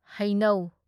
ꯍꯩꯅꯧ